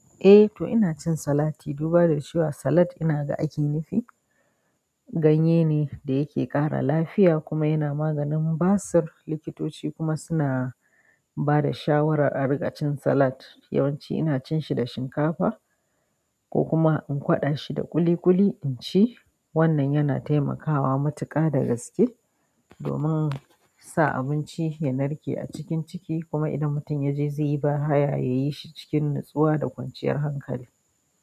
Eh to, ina cin salati, duba da cewa inaga salad ake nufi ganye ne da yake ƙara lafiya kuma yana maganin basir. Likitoci kuma suna bada shawara a riƙa cin salat. Yawanci ina cin shi da shinkafa ko kuma in kwaɗa shi da ƙuli ƙuli in ci. Wannan yana taimakawa matuƙa da gaske domin sa abinci ya narke a cikin ciki. Kuma idan mutum ya je zai yi ba haya, ya yi shi cikin natsuwa da kwanciyar hankali.